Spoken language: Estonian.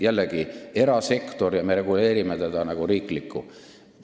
Jällegi, see on erasektor, aga me reguleerime seda nagu riiklikku.